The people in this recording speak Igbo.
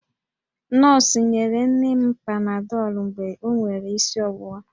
Nọọsụ nyere nne m panadọlụ mgbe o nwere isi ọwụwa